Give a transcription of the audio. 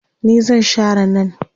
ni zan Share nan